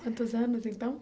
Quantos anos, então?